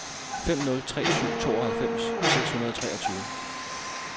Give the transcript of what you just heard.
fem nul tre syv tooghalvfems seks hundrede og treogtyve